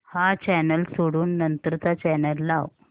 हा चॅनल सोडून नंतर चा चॅनल लाव